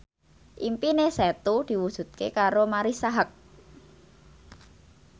impine Setu diwujudke karo Marisa Haque